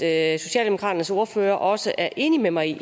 at socialdemokratiets ordfører også er enig med mig i